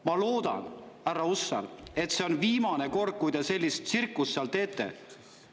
Ma loodan, härra Hussar, et see on viimane kord, kui te sellist tsirkust seal teete.